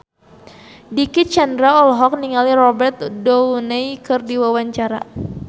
Dicky Chandra olohok ningali Robert Downey keur diwawancara